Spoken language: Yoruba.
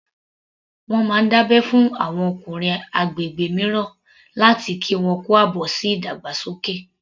Wọ́n máa ń dábẹ́ fún àwọn ọkùnrin ní agbègbè mìíràn láti kí wọn kú àbọ̀ sí ìdàgbàsókè